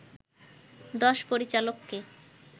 দশ পরিচালককে